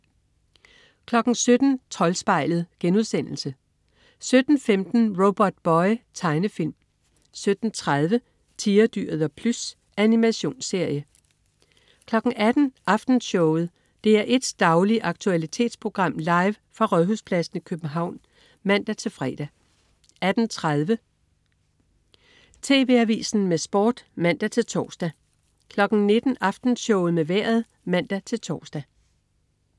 17.00 Troldspejlet* 17.15 Robotboy. Tegnefilm 17.30 Tigerdyret og Plys. Animationsserie 18.00 Aftenshowet. DR1s daglige aktualitetsprogram, live fra Rådhuspladsen i København (man-fre) 18.30 TV Avisen med Sport (man-tors) 19.00 Aftenshowet med Vejret (man-tors)